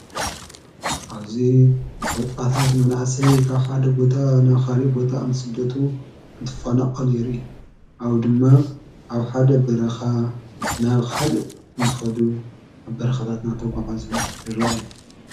ኣውዙ ወጣታት መናእሰይ ኻብ ሓድ ቦታ ናብኻልእ ቦታ እንትስደቱ እንትፋናቀሉ ይርኣዩ ድማ ኣብ ሓደ ኣበረኻ ናብኻልእ እንትኸዱ ኣብ በረኸታትና ተጐዓዙ ይረየ